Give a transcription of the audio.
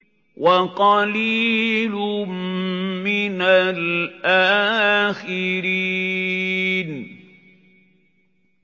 وَقَلِيلٌ مِّنَ الْآخِرِينَ